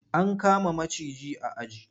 An kama maciji a aji.